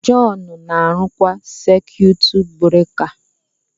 John na-arụkwa saikwutu bureka